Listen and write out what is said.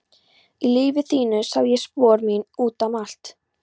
Í lífi þínu sá ég spor mín út um allt.